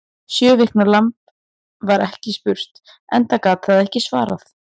Sjö vikna lamb var ekki spurt, enda gat það ekki svarað.